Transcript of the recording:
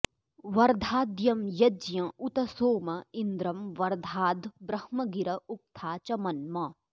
वर्धा॒द्यं य॒ज्ञ उ॒त सोम॒ इन्द्रं॒ वर्धा॒द्ब्रह्म॒ गिर॑ उ॒क्था च॒ मन्म॑